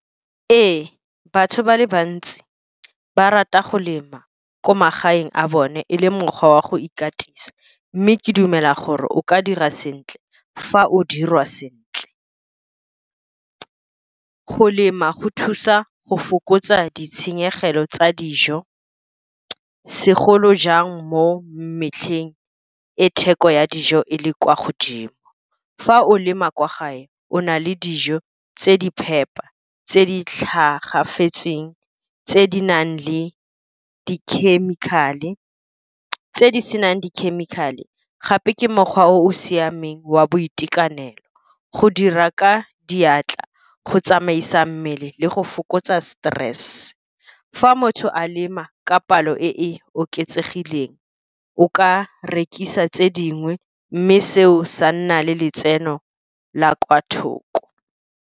Ee, batho ba le bantsi ba rata go lema ko magaeng a bone, e le mokgwa wa go ikatisa, mme ke dumela gore o ka dira sentle fa o dirwa sentle. Go lema go thusa go fokotsa ditshenyegelo tsa dijo segolojang mo metlheng, e theko ya dijo e le kwa godimo. Fa o lema kwa gae o na le dijo tse di phepa, tse di tlhagafetseng, tse di senang dikhemikhale, gape ke mokgwa o o siameng wa boitekanelo, go dira ka diatla, go tsamaisa mmele le go fokotsa stress. Fa motho a lema ka palo e e oketsegileng o ka rekisa tse dingwe mme seo sa nna le letseno la kwa thoko.